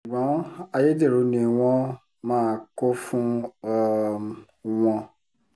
ṣùgbọ́n ayédèrú ni wọ́n máa kó fún um wọn